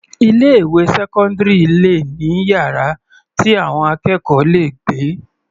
Ilé ìwé sẹ́cọ́ndírì le ní yàrá tí àwọn akẹ́kọ̀ọ́ le gbé.